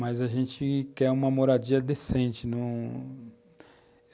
Mas a gente quer uma moradia decente, num...